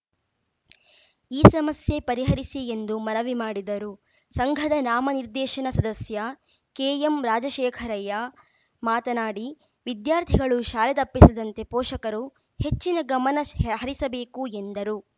ಈ ಸಮಸ್ಯೆ ಪರಿಹರಿಸಿ ಎಂದು ಮನವಿ ಮಾಡಿದರು ಸಂಘದ ನಾಮ ನಿರ್ದೇಶನ ಸದಸ್ಯ ಕೆಎಂ ರಾಜಶೇಖರಯ್ಯ ಮಾತನಾಡಿ ವಿದ್ಯಾರ್ಥಿಗಳು ಶಾಲೆ ತಪ್ಪಿಸದಂತೆ ಫೋಷಕರು ಹೆಚ್ಚಿನ ಗಮನ ಸ್ ಹರಿಸಬೇಕು ಎಂದರು